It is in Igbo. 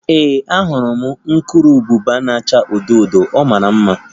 Ee, ahụrụ m urukurubụba na-acha odo odo, ọ mara mma